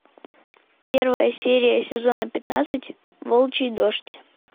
первая серия сезона пятнадцать волчий дождь